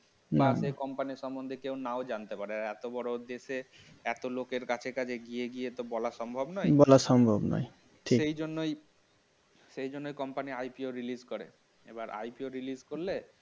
Company সম্বন্ধে কেউ না জানতে পারে এত বড় দেশে এত লোকের কাছে কাছে এগিয়ে গিয়ে তো বলা সম্ভব নয় বলা সম্ভব নয়. সেজন্যই সেজন্যই কোম্পানি IPO release করে এবার IPO release করলে